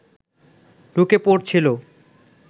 ঢুকে পড়ছিল